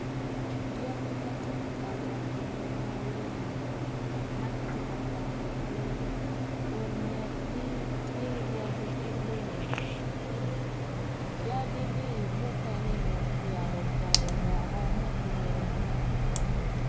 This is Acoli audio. Dyangi ma tye ka wot i yo maleng ma kitye ka kwatogi kun ngetgi tye yadi kilum yadi ni mukene dong oyabo poto woko mutwone.